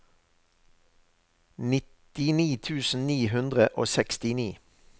nittini tusen ni hundre og sekstini